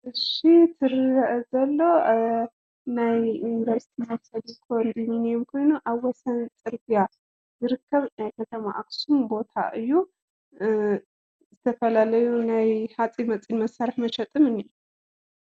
እሺ እቲ ዝረአ ዘሎ ናይ ዩኒቨርስቲ ማሕበረሰብ ኮንደሚንየም ኮይኑ፣ ኣብ ወሰን ፅርግያ ዝርከብ ናይ ከተማ ኣክሱም ቦታ እዩ። ዝተፈላለዩ ናይ ሓፂን መፂን መሳርሒ መሸጥን እኒሀ፡፡